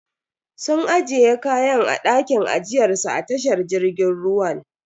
Sun ajiye kayan a dakin ajiyar su a tashar jirgin ruwan.